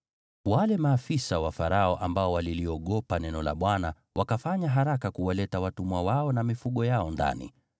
Wale maafisa wa Farao ambao waliliogopa neno la Bwana wakafanya haraka kuwaleta watumwa wao na mifugo yao ndani.